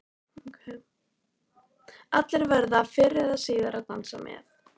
Allir verða fyrr eða síðar að dansa með.